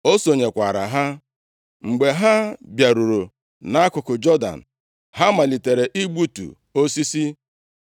O sonyekwara ha. Mgbe ha bịaruru nʼakụkụ Jọdan, ha malitere igbutu osisi.